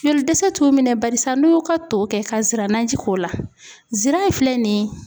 Joli dɛsɛ t'u minɛ barisa n'u y'u ka to kɛ ka siranaji k'o la sira in filɛ nin ye